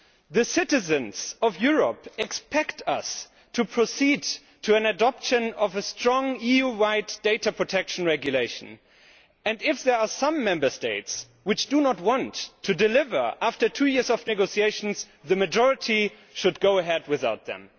The citizens of Europe expect us to proceed to the adoption of a strong EU wide data protection regulation. If there are some Member States which do not want to deliver after two years of negotiations, the majority should go ahead without them.